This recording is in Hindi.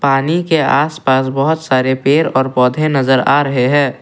पानी के आस पास बहोत सारे पेड़ और पौधे नजर आ रहे हैं।